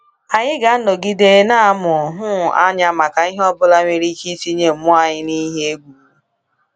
Anyị ga-anọgide na-amụ um anya maka ihe ọ bụla nwere ike itinye mmụọ anyị n’ihe egwu.